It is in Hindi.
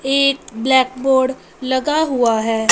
एक ब्लैकबोर्ड लगा हुआ है।